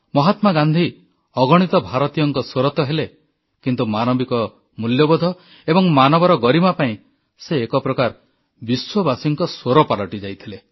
ମହାତ୍ମା ଗାନ୍ଧୀ ଅଗଣିତ ଭାରତୀୟଙ୍କ ସ୍ୱର ତ ହେଲେ କିନ୍ତୁ ମାନବିକ ମୂଲ୍ୟବୋଧ ଏବଂ ମାନବର ଗରିମା ପାଇଁ ସେ ଏକ ପ୍ରକାର ବିଶ୍ୱବାସୀଙ୍କ ସ୍ୱର ପାଲଟି ଯାଇଥିଲେ